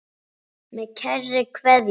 Með kærri kveðju.